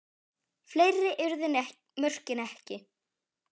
Fleiri urðu mörkin ekki.